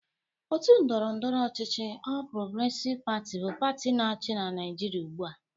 Otu ndọrọndọrọ ochịchị ọl Progresiv Pati bụ pati na-achị n'Naịjịrịa ugbụ a.